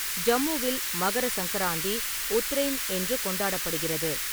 ஜம்முவில், மகர சங்கராந்தி 'உத்ரெய்ன்' என்று கொண்டாடப்படுகிறது.